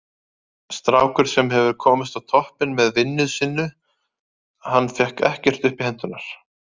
Strákur sem hefur komist á toppinn með vinnu sinnu, hann fékk ekkert upp í hendurnar.